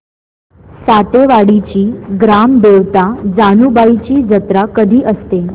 सातेवाडीची ग्राम देवता जानुबाईची जत्रा कधी असते